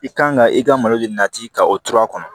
I kan ka i ka malo de nati ka o tora a kɔnɔ